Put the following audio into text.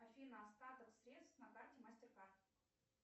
афина остаток средств на карте мастеркард